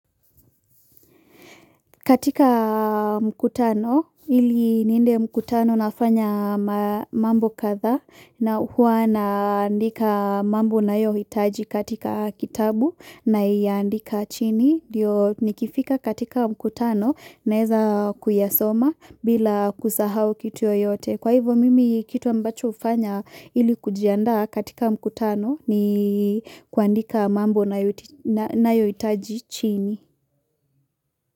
Katika mkutano, iliniende mkutano nafanya mambo kadha na hua naandika mambo nayohitaji katika kitabu naiandika chini. Ndio nikifika katika mkutano naweza kuyasoma bila kusahau kitu yoyote. Kwa hivyo mimi kitu ambacho hufanya ili kujiandaa katika mkutano ni kuandika mambo nayohitaji chini.